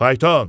"Fayton!